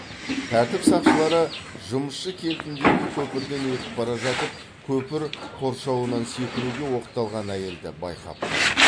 тәртіп сақшылары жұмысшы кентіндегі көпірден өтіп бара жатып көпір қоршауынан секіруге оқталған әйелді байқап қалады